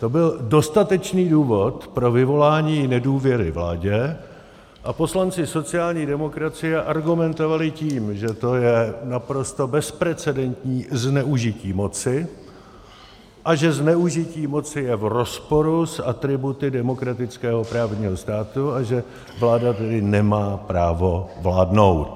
To byl dostatečný důvod pro vyvolání nedůvěry vládě a poslanci sociální demokracie argumentovali tím, že to je naprosto bezprecendentní zneužití moci a že zneužití moci je v rozporu s atributy demokratického právního státu, a že vláda tedy nemá právo vládnout.